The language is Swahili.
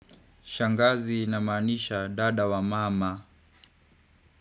Shangazi ina maanisha dada wa mama.